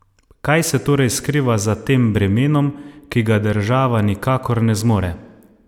Kaj se torej skriva za tem bremenom, ki ga država nikakor ne zmore?